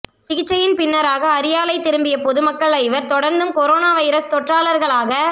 சிகிச்சையின் பின்னராக அரியாலை திரும்பிய பொதுமக்கள் ஜவர் தொடர்ந்தும் கொரோனா வைரஸ் தொற்றாளர்களாக